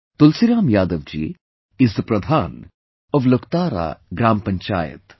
Tulsiram Yadav ji is the Pradhan of Luktara Gram Panchayat